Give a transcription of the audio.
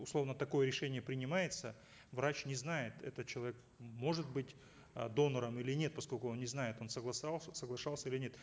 условно такое решение принимается врач не знает этот человек может быть э донором или нет поскольку он не знает он согласовал соглашался или нет